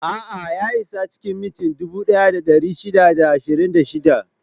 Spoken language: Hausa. A'a, ya isa cikin minti dubu ɗaya da ɗari shida da ashirin da shida.